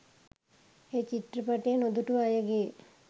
එය චිත්‍රපටය නොදුටු අයගේ